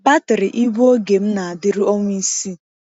Batrị igwe oge m na-adịru ọnwa isii.